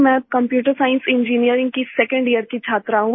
मैं computer science engineering की second year की छात्रा हूँ